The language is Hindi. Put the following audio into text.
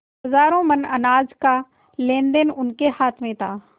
हजारों मन अनाज का लेनदेन उनके हाथ में था